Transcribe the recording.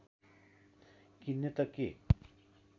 किन्ने त के